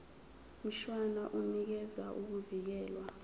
mshwana unikeza ukuvikelwa